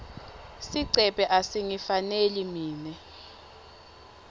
sigcebhe asingifaneli mine